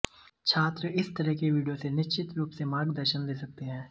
छात्र इस तरह के वीडियो से निश्चित रूप से मार्गदर्शन ले सकते हैं